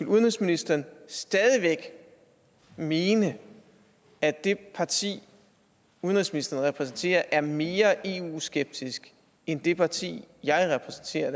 udenrigsministeren stadig væk mene at det parti udenrigsministeren repræsenterer er mere eu skeptisk end det parti jeg repræsenterer